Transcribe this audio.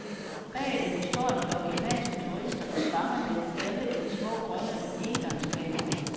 Bag dem står en flok japanske turister og fanger dem alle i små grønne engangskameraer.